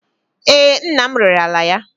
Ee, nna m rere ala ya.